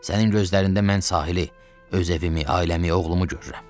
Sənin gözlərində mən sahili, öz evimi, ailəmi, oğlumu görürəm.